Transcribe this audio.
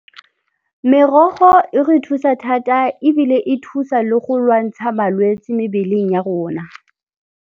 Merogo e re thusa thata ebile e thusa le go lwantsha malwetse mebeleng ya rona.